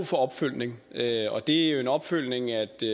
for opfølgning og det er jo en opfølgning